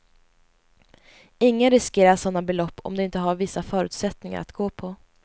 Ingen riskerar sådana belopp om de inte har vissa förutsättningar att gå på.